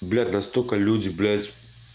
блядь настолько люди блядь